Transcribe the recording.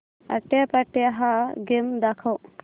आट्यापाट्या हा गेम दाखव